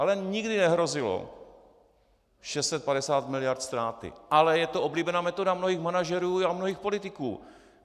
Ale nikdy nehrozilo 650 miliard ztráty, ale je to oblíbená metoda mnohých manažerů a mnohých politiků.